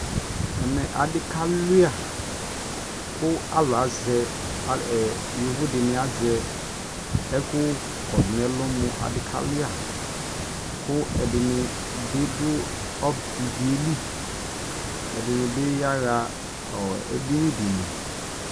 ɛmɛ adi ka wlia kʋ alʋ asɛ yɔvɔ dini azɛ ɛkʋ kɔdʋ nʋ ɛlʋ mʋ, adi ka wlia kʋ ɛdini bi dʋ iviɛ li ɛdini bi yaha ɛdini di li